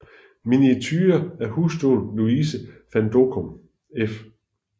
Miniature af hustruen Louise van Dockum f